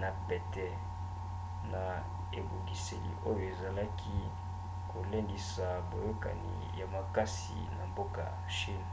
na pete na ebongiseli oyo ezalaki kolendisa boyokani ya makasi na mboka chine